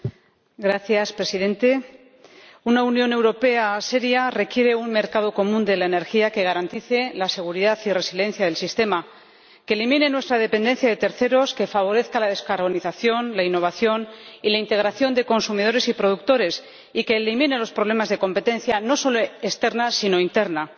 Señor Presidente, una Unión Europea seria requiere un mercado común de la energía que garantice la seguridad y resiliencia del sistema, que elimine nuestra dependencia de terceros, que favorezca la descarbonización, la innovación y la integración de consumidores y productores y que elimine los problemas de competencia no solo externa sino también interna.